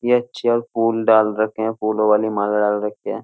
ये अच्छी और फूल डाल रखे हैं। फूलों वाली माला डाल रखी है।